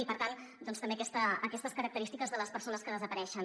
i per tant doncs també aquestes característiques de les persones que desapareixen